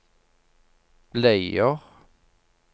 bleier